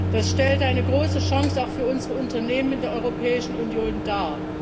Das stellt eine große Chance auch für unsere Unternehmen in der Europäischen Union dar.